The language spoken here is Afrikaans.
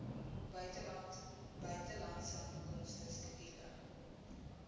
buitelandse inkomste skedule